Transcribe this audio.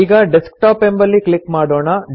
ಈಗ ಡೆಸ್ಕ್ಟಾಪ್ ಎಂಬಲ್ಲಿ ಕ್ಲಿಕ್ ಮಾಡೋಣ